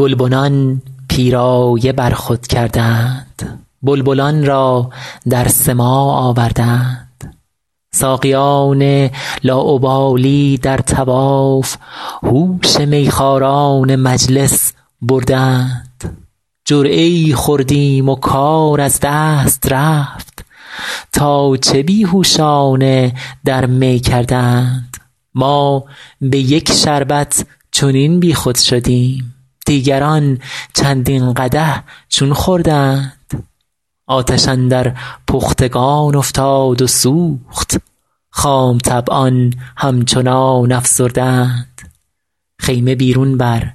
گلبنان پیرایه بر خود کرده اند بلبلان را در سماع آورده اند ساقیان لاابالی در طواف هوش میخواران مجلس برده اند جرعه ای خوردیم و کار از دست رفت تا چه بی هوشانه در می کرده اند ما به یک شربت چنین بیخود شدیم دیگران چندین قدح چون خورده اند آتش اندر پختگان افتاد و سوخت خام طبعان همچنان افسرده اند خیمه بیرون بر